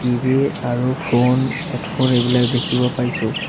TV আৰু phone headphone এইবিলাক দেখিব পাইছোঁ।